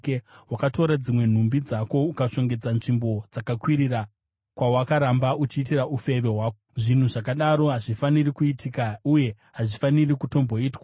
Wakatora dzimwe nhumbi dzako ukashongedza nzvimbo dzakakwirira, kwawakaramba uchiitira ufeve hwako. Zvinhu zvakadaro hazvifaniri kuitika uye hazvifaniri kutomboitwa.